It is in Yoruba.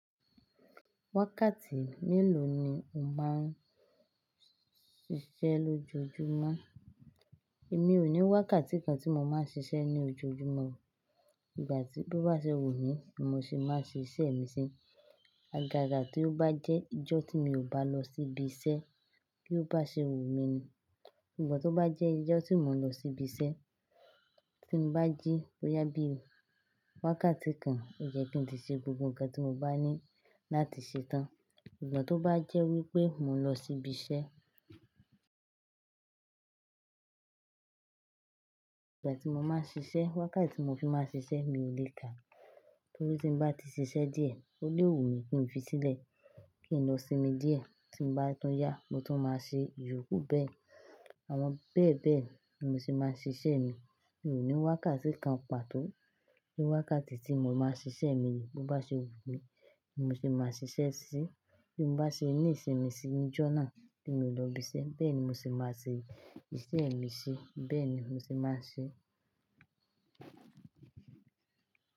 Wákàtí mélòó ni o máa ń ṣiṣẹ́ lójoojúmọ́? Èmi ò ní wákàtí kan tí mo máa ń ṣiṣẹ́ ní ojoojúmọ́. Ìgbà tí bí ó bá ṣe wù mí ni mo ṣe máa ṣe iṣẹ́ mi ṣé. Agaga tí ó bá jẹ́ ijọ́ tí mi ò bá lọ síbi iṣẹ́ bí ó bá ṣe wù mí ni. Sungbo tí ó bá jẹ́ ijọ́ tí mo lọ sí ibi iṣẹ́, tí mo bá jí boyà bí wákàtí kan, ó yẹ́ ki tí ṣe gbogbo nǹkan tí mo bá ní láti ṣe tán. Sugbon tí ó bá jẹ́ wípé mo lọ sí ibi iṣẹ́, ìgbà tí mo máa ń ṣiṣẹ́, wákàtí tí mo fi máa ń ṣiṣẹ́ mi ò le kà nítorí tí bá ti ṣiṣẹ́ díẹ̀, ó lé wù mí kí n fi sílẹ̀, kí n lọ sinmi díẹ̀. Tí bá tún yá, mo tún máa ṣe, ìyókù bẹ́ẹ̀. Àwọn bẹ́ẹ̀ bẹ́ẹ̀ ni mo ṣe máa ń ṣe iṣẹ́ mi. Mi ò ní wákàtí kan pàtó. Ni wákàtí tí mo máa ń ṣe iṣẹ́ mi ni bí ó bá ṣe wù mí ni mo ṣe máa ṣiṣẹ́ ṣí. Bí mo bá ṣe ní ìṣinmi si níjọ́ náà tí mi ò lọ ibi iṣẹ́, bẹ́ẹ̀ ni mo ṣe máa ṣe iṣẹ́ mi ṣé. Bẹ́ẹ̀ ni mo ṣe máa ń ṣe.